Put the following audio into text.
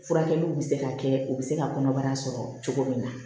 Furakɛliw bɛ se ka kɛ u bɛ se ka kɔnɔbara sɔrɔ cogo min na